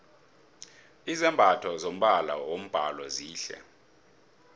izambatho zombala wombhalo zihle